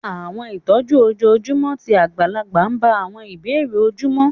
Ilé ìtọ́jú ojoojúmọ́ ti àgbàlagbà bá àwọn ìbéèrè ojúmọ́